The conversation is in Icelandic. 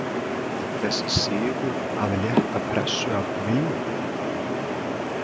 Var þessi sigur að létta pressu af Willum?